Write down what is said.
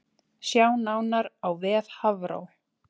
Sjá nánar á vef Hafró